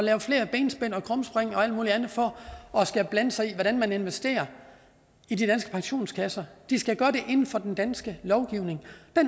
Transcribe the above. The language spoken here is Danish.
lave flere benspænd og krumspring og alt muligt andet for at blande sig i hvordan man investerer i de danske pensionskasser de skal gøre det inden for den danske lovgivning